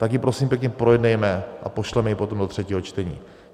Tak ji prosím pěkně projednejme a pošleme ji potom do třetího čtení.